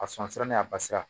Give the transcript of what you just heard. A sɔn sira n'a basira